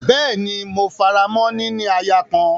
Bẹ́ẹ́ni, mo faramọ́ “ níní aya kan”.